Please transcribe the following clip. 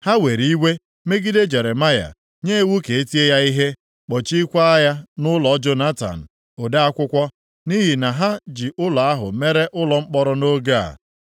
Ha were iwe megide Jeremaya, nye iwu ka e tie ya ihe, kpọchiekwa ya nʼụlọ Jonatan, ode akwụkwọ. Nʼihi na ha ji ụlọ ahụ mere ụlọ mkpọrọ nʼoge a.